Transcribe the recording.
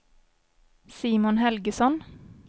Simon Helgesson